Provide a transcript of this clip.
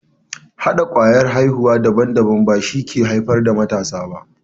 Hɗa kwayar aihuwa daban na shuka ko daba shi ke haifar da matasa.